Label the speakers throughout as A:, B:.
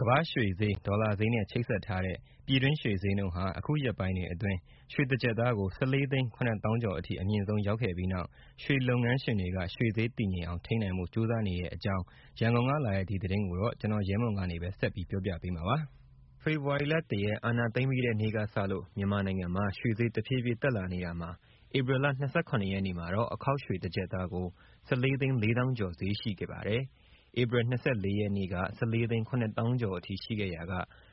A: ကမ္ဘာ့ရွှေဈေး၊ ဒေါ်လာဈေးနဲ့ ချိတ်ဆက်ထားတဲ့ ပြည်တွင်းရွှေဈေးနှုန်းဟာ အခုရက်ပိုင်းတွေအတွက် ရွှေတကျပ်သားကို ၁၄ သိန်း ၇ သောင်းကျော်အထိ အမြင့်ဆုံး ရောက်ခဲ့ပြီးနောက် ရွှေလုပ်ငန်းငန်းရှင်တွေက ရွှေဈေး တည်ငြိမ်အောင် ထိန်းနိုင်ဖို့ ကြိုးစားနေတဲ့အကြောင်း ရန်ကုန်က လာတဲ့ ဒီသတင်းကိုတော့ ဗွီအိုအေ မြန်မာပိုင်းသတင်းထောက် ကိုရဲမွန်က ပြောပြပေးမှာပါ။ ဖေဖော်ဝါရီလ ၁ ရက် အာဏာသိမ်းပြီးတဲ့နေ့ကစလို့ မြန်မာနိုင်ငံမှာ ရွှေဈေးတဖြည်းဖြည်းတက်လာနေတာမှာ ဧပြီလ ၂၇ ရက်နေ့မှာတော့ အခေါက်ရွှေတကျပ်သားကို ၁၄ သိန်း ၄ သောင်းကျော်ဈေးရှိခဲ့ပါတယ်။ ဧပြီ ၂၄ ရက်နေ့က ၁၄ သိန်း ၇ သောင်းကျော်အထိ ရှိခဲ့ရာက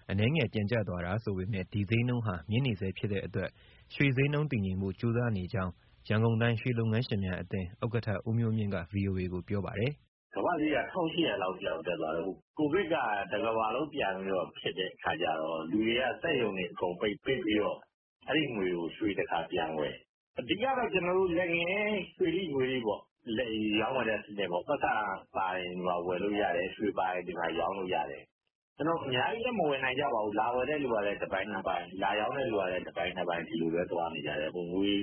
A: အနည်းငယ်ပြန်ကျသွားတာဆိုပေမဲ့ ဒီဈေးနှုန်းဟာ မြင့်နေဆဲဖြစ်တဲ့အတွက် ရွှေဈေးနှုန်းတည်ငြိမ်ဖို့ ကြိုးစားနေကြောင်း ရန်ကုန်တိုင်း ရွှေလုပ်ငန်းရှင်များအသင်း ဥက္ကဋ္ဌ ဦးမျိုးမြင့်က ဗွီအိုအေကို ပြောပါတယ်။
B: “ကမ္ဘာ့ရွှေဈေးက (ဒေါ်လာ) ၁၈၀၀ လောက်အထိ တက်သွားတော့… ကိုဗစ်က တကမ္ဘာလုံး ပြန်ဖြစ်တဲ့အခါကျတော့ လူတွေက စက်ရုံတွေအကုန်ပြန်ပိတ် ပိတ်ပြီးတော့ အဲဒီငွေကို ရွှေတခါပြန်ဝယ်၊ အဓိကတော့ လက်ငင်း ရွှေထိ၊ ငွေထိပေါ့ ရောင်းဝယ်တဲ့စနစ်၊ ပိုက်ဆံပါရင် ဒီမှာ ဝယ်လို့ရတယ်၊ ရွှေပါရင် ဒီမှာ ရောင်းလို့ရတယ်။ အများကြီးလည်း မဝယ်နိုင်ကြပါဘူး လာဝယ်တဲ့သူကလည်း တပိုင်နှစ်ပိုင် လာရောင်းတဲ့သူလည်း တပိုင်နှစ်ပိုင် ဒီလိုပဲသွားနေကြတယ်၊ ငွေ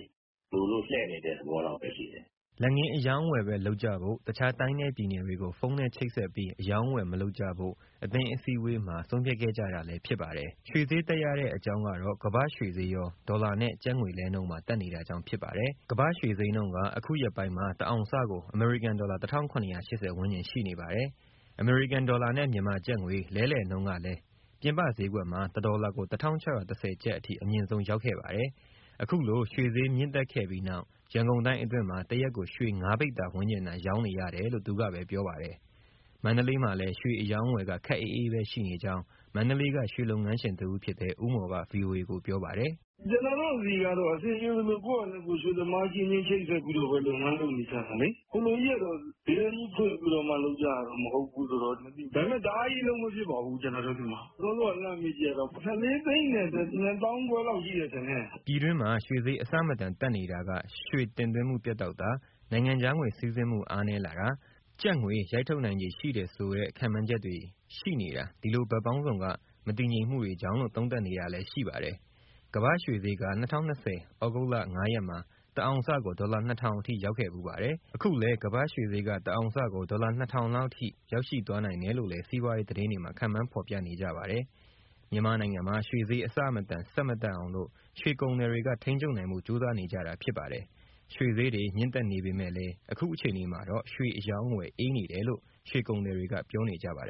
B: လိုလို့ လှည့်နေတဲ့ သဘောလောက်ပဲရှိတယ်။”
A: လက်ငင်းအရောင်းအဝယ်ပဲ လုပ်ကြဖို့၊ တခြားတိုင်းနဲ့ပြည်နယ်တွေကို ဖုန်းနဲ့ချိတ်ဆက်ပြီး အရောင်းအဝယ် မလုပ်ကြဖို့ အသင်းအစည်းအဝေးမှာ ဆုံးဖြတ်ခဲ့ကြတာဖြစ်ပါတယ်။ ရွှေဈေးတက်ရတဲ့ အကြောင်းကတော့ ကမ္ဘာ့ရွှေဈေးရော ဒေါ်လာနဲ့ကျပ်ငွေလဲနှုန်းပါ တက်နေတာကြောင့် ဖြစ်ပါတယ်။ ကမ္ဘာ့ရွှေဈေးနှုန်းက အခုရက်ပိုင်းမှာ တအောင်စကို အမေရိကန်ဒေါ်လာ ၁၇၈၀ ဝန်းကျင်ရှိနေပါတယ်။ အမေရိကန်ဒေါ်လာနဲ့ မြန်မာကျပ်ငွေ လဲလှယ်နှုန်းကလည်း ပြင်ပဈေးကွက်မှာ ၁ ဒေါ်လာကို ၁၆၁၀ ကျပ်အထိ အမြင့်ဆုံးရောက်ခဲ့ပါတယ်။ အခုလို ရွှေဈေးမြင့်တက်ခဲ့ပြီးနောက် ရန်ကုန်တိုင်းအတွင်းမှာ တရက်ကိုရွှေ ၅ ပိဿာ ဝန်းကျင်သာ ရောင်းနေရတယ်လို့ သူက ပြောပါတယ်။ မန္တလေးမှာလည်း ရွှေအရောင်းအဝယ်က ခပ်အေးအေးပဲရှိနေကြောင်း မန္တလေးက ရွှေလုပ်ငန်းရှင် တဦးဖြစ်တဲ့ ဦးမော်က ဗွီအိုအေကို ပြောပါတယ်။ “ကျနော်တို့
B: ဆီကတော့ အဆင်ပြေသလို ကိုယ့်ဟာနဲ့ကိုယ် ရွှေသမားအချင်းချင်း ချိတ်ဆက်ပြီးတော့ လုပ်ငန်း လုပ်နေကြတာလေ။ ဈေးတန်းကြီး ဖွင့်ပြီးတော့မှ လုပ်ကြတာ မဟုတ်ဘူးဆိုတော့၊ ဒါပေမဲ့ တအားကြီး အလုပ်မဖြစ်ပါဘူး ကျနော်တို့ဆီမှာ။ စောစောက လှမ်းမေးကြည့်တာတော့ ၁၄၂၅၀၀၀ လောက်ရှိမယ် ထင်တယ်။
A: ” ပြည်တွင်းမှာ ရွှေဈေးအဆမတန် တက်နေတာက ရွှေတင်သွင်းမှုပြတ်တောက်တာ၊ နိုင်ငံခြားငွေ စီးဆင်းမှုအားနည်းလာတာ၊ ကျပ်ငွေရိုက်ထုတ်နိုင်ခြေ ရှိတယ်ဆိုတဲ့ ခန့်မှန်းချက်တွေ ရှိနေတာ ဒီလိုဘက်ပေါင်းစုံက မတည်ငြိမ်မှုတွေကြောင့်လို့ သုံးသပ်နေတာလည်း ရှိပါတယ်။ကမ္ဘာ့ရွှေဈေးက ၂၀၂၀ ဩဂုတ်လ ၅ ရက်မှာ တအောင်စကို ဒေါ်လာ ၂၀၀၀ အထိရောက်ခဲ့ဖူးပါတယ်။ အခုလည်း ကမ္ဘာ့ရွှေဈေးက တအောင်စကို ဒေါ်လာ ၂၀၀၀ လောက် ထိရောက်ရှိ သွားနိုင်တယ်လို့လည်း စီးပွားရေးသတင်းတွေမှာ ခန့်မှန်းဖော်ပြနေကြပါတယ်။ မြန်မာနိုင်ငံမှာ ရွှေဈေး အဆမတန် ဆက် မတက်အောင်လို့ ရွှေကုန်သည်တွေက ထိန်းချုပ်နိုင်ဖို့ ကြိုးစားနေကြတာဖြစ်ပါတယ်။ ရွှေဈေးတွေ မြင့်တက်နေပေမဲ့လည်း အခုအခြေအနေမှာတော့ ရွှေအရောင်းအဝယ် အေးနေတယ်လို့ ရွှေကုန်သည်တွေက ပြောနေကြပါတယ်